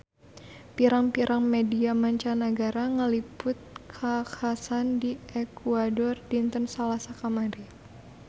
Pirang-pirang media mancanagara ngaliput kakhasan di Ekuador dinten Salasa kamari